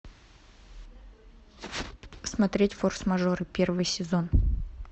смотреть форс мажоры первый сезон